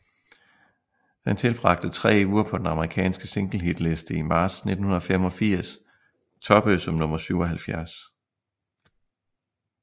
Den tilbragte tre uger på den amerikanske singlehitliste i marts 1985 toppede som nummer 77